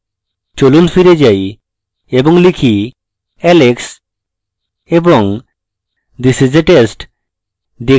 চলুন ফিরে যাই এবং লিখি alex এবং this is a test